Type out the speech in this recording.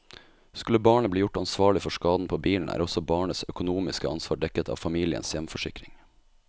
Skulle barnet bli gjort ansvarlig for skaden på bilen, er også barnets økonomiske ansvar dekket av familiens hjemforsikring.